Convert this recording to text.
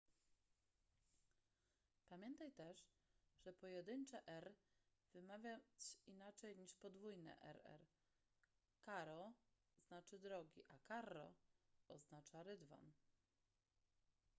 pamiętaj też żeby pojedyncze r” wymawiać inaczej niż podwójne rr”: caro” znaczy drogi” a carro” oznacza rydwan